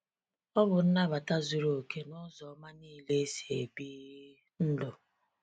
O bụ nnabata zuru okè nụzọ oma niile esi ebi! ndụ.